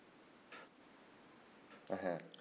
হ্যাঁ